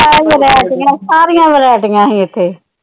ਸਾਰੀਆਂ ਵਰਾਇਟੀਆਂ ਸੀ ਇਥੇ।